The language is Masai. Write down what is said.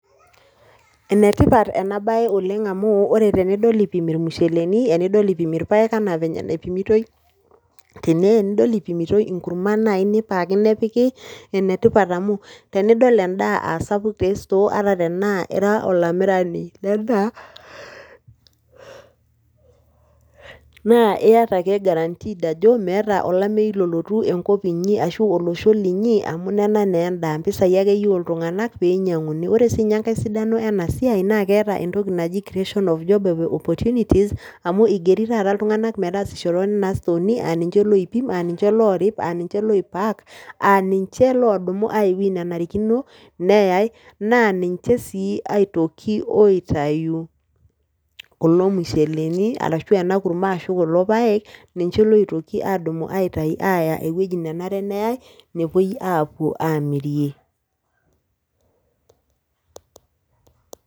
Enetipat ena bae oleng amu ore tenidol eipimi irmusheleni , tenidol eipimi irpaek anaa venye naipimitoi tene tenidol eipimitoi inkurman , nipaaki nai nepiki , enetipat amu tenidol endaa aa sapuk testore ata tenaa ira olamirani lendaa naa iyata ake guarantee ajo meeta olameyu olotu enkop inyi ashu olosho linyi amu nena naa endaa , mpisai ake eyieu iltunganak peinyianguni. Ore sininye enkae sidano ena siai naa keeta entoki nikijo creation of job opportunities amu igeri taata iltunganak metaasisho tonena stooni aa ninche loipim , aa ninche lorip , ninche loipak , aa ninche lodumu aya ewuei nenarikino neyay naa niche sii aitoki oitayu kulo musheleni , arashu ena kurma arashu kulo paek loitoki adumu aya ewueji nenare neyay , nepuoi apuo amirie .